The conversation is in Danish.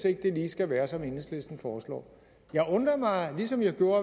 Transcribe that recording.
ikke lige skal være som enhedslisten foreslår jeg undrer mig ligesom jeg gjorde